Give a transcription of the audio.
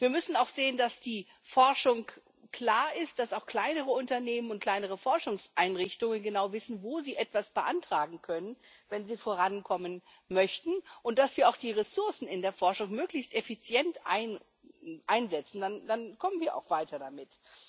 Wir müssen auch sehen, dass die Forschung klar ist, dass auch kleinere Unternehmen und kleinere Forschungseinrichtungen genau wissen, wo sie etwas beantragen können, wenn sie vorankommen möchten, und dass wir auch die Ressourcen in der Forschung möglichst effizient einsetzen. Dann kommen wir auch weiter